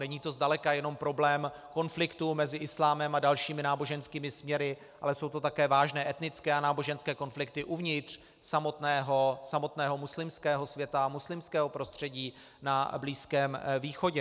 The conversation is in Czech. Není to zdaleka jenom problém konfliktu mezi islámem a dalšími náboženskými směry, ale jsou to také vážné etnické a náboženské konflikty uvnitř samotného muslimského světa, muslimského prostředí na Blízkém východě.